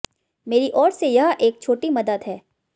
मेरी ओर से यह एक छोटी मदद है